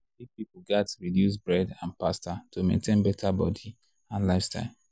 big people gats reduce bread and pasta to maintain better body and lifestyle.